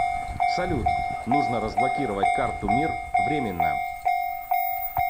салют нужно разблокировать карту мир временно